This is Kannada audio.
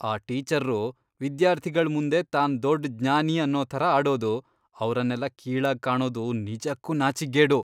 ಆ ಟೀಚರ್ರು ವಿದ್ಯಾರ್ಥಿಗಳ್ ಮುಂದೆ ತಾನ್ ದೊಡ್ಡ್ ಜ್ಞಾನಿ ಅನ್ನೋ ಥರ ಆಡೋದು, ಅವ್ರನ್ನೆಲ್ಲ ಕೀಳಾಗ್ ಕಾಣೋದು ನಿಜಕ್ಕೂ ನಾಚಿಕ್ಗೇಡು.